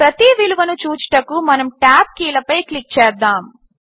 ప్రతి విలువను చూచుటకు మనము టాబ్ కీలపై క్లిక్ చేద్దాము